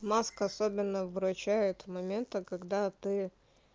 маска особенно выручает в моменты когда ты